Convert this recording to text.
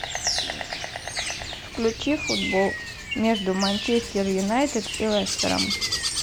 включи футбол между манчестер юнайтед и лестером